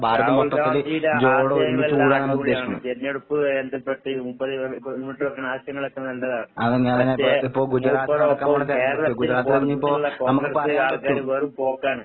രാഹുൽ ഗാന്ധീടെ ആശയങ്ങളെല്ലാം തെരഞ്ഞെടുപ്പുമായി ബന്ധപ്പെട്ട് മൂപ്പര് ഇപ്പ മുന്നോട്ട് വെക്കണ ആശയങ്ങളൊക്കെ നല്ലതാണ്. പക്ഷെ മൂപ്പർടോപ്പം കേരളത്തിന് പുറത്തുള്ള കോൺഗ്രസ് ആൾക്കാര് വെറും പോക്കാണ്.